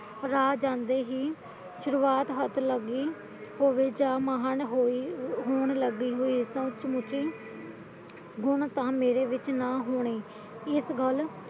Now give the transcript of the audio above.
ਰਾਹ ਜਾਂਦੇ ਹੀ ਸੁਰੁਵਾਤ ਹੱਥ ਲੱਗ ਗਈ ਗੁਣ ਤਾਂ ਮੇਰੇ ਵਿੱਚ ਨਾ ਹੋਣੇ ਇਸ ਗੱਲ